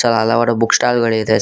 ಹಲವಾರು book stall ಗಳಿದೆ sir .